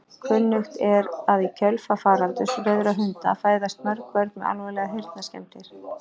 Kunnugt er að í kjölfar faraldurs rauðra hunda fæðast mörg börn með alvarlegar heyrnarskemmdir.